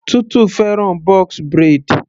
Tutu fẹ́ràn box braid.